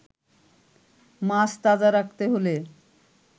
মাছ তাজা রাখতে হলে